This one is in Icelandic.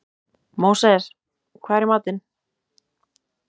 Móses, hvað er í matinn?